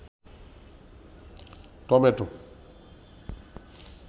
tomato